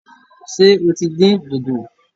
Ṣé o tí dín dòdò?